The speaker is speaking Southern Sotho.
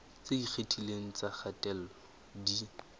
tse ikgethileng tsa kgatello di